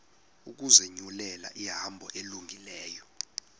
ukuzinyulela ihambo elungileyo